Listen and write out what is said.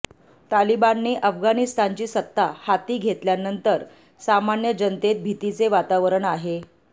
तालिबानने अफगाणिस्तानची सत्ता हाती घेतल्यानंतर सामान्य जनतेत भीतीचे वातावरण आहे